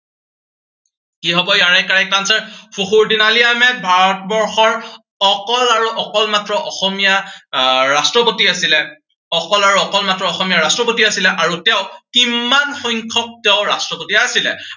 কি হব ইয়াৰে correct answer ফখৰুদ্দিন আলি আহমেদ ভাৰতবৰ্ষৰ অকল আৰু অকল মাত্ৰ অসমীয়া আহ ৰাষ্ট্ৰপতি আছিলে, অকল আৰু অকল মাত্ৰ অসমীয়া ৰাষ্ট্ৰপতি আছিলে, আৰু তেওঁ কিমান সংখ্য়ক তেওঁ ৰাষ্ট্ৰপতি আছিলে।